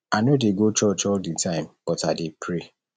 i no dey go church all the time but i dey pray